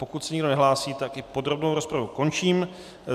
Pokud se nikdo nehlásí, tak i podrobnou rozpravu končím.